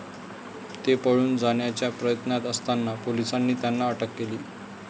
ते पळून जाण्याच्या प्रयत्नात असताना पोलिसांनी त्यांना अटक केली.